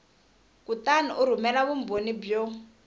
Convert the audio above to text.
kutani u rhumela vumbhoni byo